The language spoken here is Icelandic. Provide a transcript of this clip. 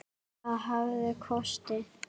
Það hafði kosti.